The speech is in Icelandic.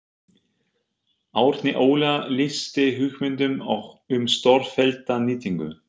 Árni Óla lýsti hugmyndum um stórfellda nýtingu